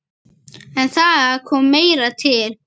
En það kom meira til.